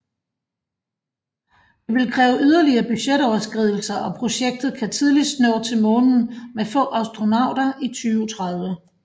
Det vil kræve yderligere budgetoverskridelser og projektet kan tidligst nå til månen med få astronauter i 2030